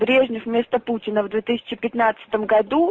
брежнев вместо путина в две тысячи пятнадцатом году